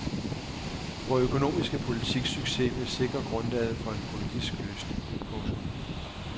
Vor økonomiske politiks succes vil sikre grundlaget for en politisk løsning. punktum